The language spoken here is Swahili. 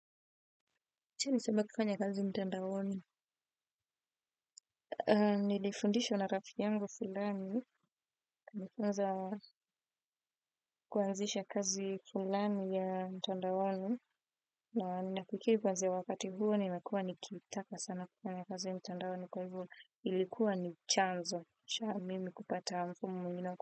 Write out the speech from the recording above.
Acha nisema kufanya kazi mtandaoni? Nilifundishwa na rafiki yangu fulani. Nifunza kuanzisha kazi fulani ya mtandawani. Na nafikiri kwanzia wakati huo nimekua nikitaka sana kufanya kazi mtandaoni. Ilikuwa ni chanzo. Cha mimi kupata mfumu mwingine wa.